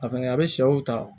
A fɛnɛ a bɛ sɛw ta